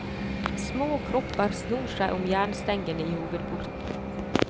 Små kropper snor seg om jernstengene i hovedporten.